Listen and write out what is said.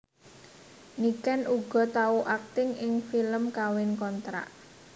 Niken uga tau akting ing film Kawin Kontrak